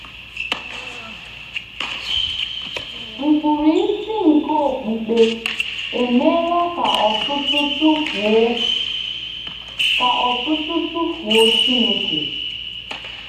Nkpụrụ isi nke okpukpe emeela ka ọtụtụ tụfuo ka ọtụtụ tụfuo Chineke.